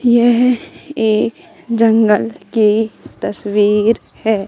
यह एक जंगल की तस्वीर हैं।